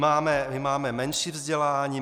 My máme menší vzdělání?